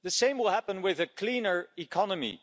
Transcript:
The same will happen with a cleaner economy.